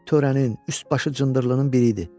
Törənin üst başı cındırlarının biri idi.